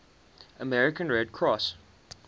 american red cross